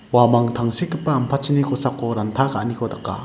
uamang tangsekgipa ampatchini kosako ranta ka·aniko daka.